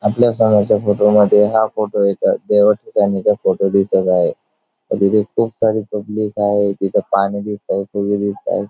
आपल्या समोरच्या फोटो मध्ये हा फोटो एका देवा ठिकाणीचा फोटो दिसत आहे तिथे खूप सारी पब्लिक आहे तिथ पाणी दिसतय फुले दिसतायत.